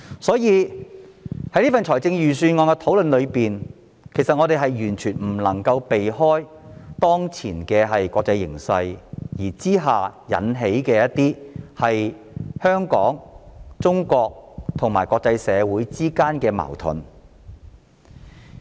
所以，在預算案討論中，我們完全不能避免提及，當前國際形勢引致香港、中國及國際社會之間的矛盾。